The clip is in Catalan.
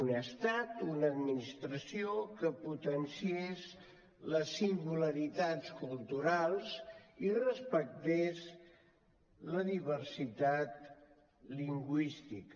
un estat una administració que potenciés les singularitats culturals i respectés la diversitat lingüística